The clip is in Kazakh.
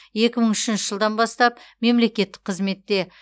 екі мың үшінші жылдан бастап мемлекеттік қызметте